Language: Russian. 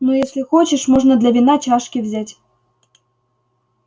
ну если хочешь можно для вина чашки взять